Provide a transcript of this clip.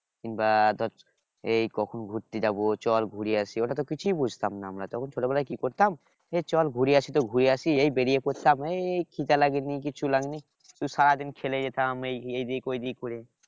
কিংবা ধর এই কখন ঘুরতে যাব চল ঘুরে আসি ওটাতো কিছুই বুঝতাম না আমরা তখন ছোট বেলায় কি করতাম এই চল ঘুরে আসি তো ঘুরে আসি এই বেরিয়ে পড়তাম এই খিদা লাগেনি কিছু লাগেনি শুধু সারাদিন খেলে যেতাম এইদিক ঐদিক করে